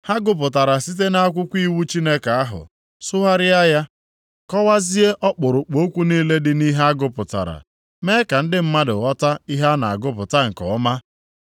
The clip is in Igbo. Ha gụpụtara site nʼakwụkwọ iwu Chineke ahụ, sụgharịa ya, kọwazie ọkpụrụkpụ okwu niile dị nʼihe a gụpụtara, mee ka ndị mmadụ ghọta ihe a na-agụpụta nke ọma.